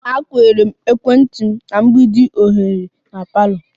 M plugged ekwentị m na mgbidi oghere na parlour